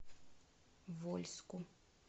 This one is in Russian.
вольску